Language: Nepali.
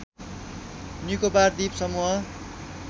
निकोबार द्वीप समूह